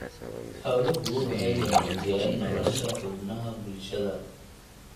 Xooluhu waxay wanaajiyaan nolosha xubnaha bulshada.